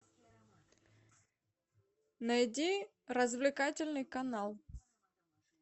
найди развлекательный канал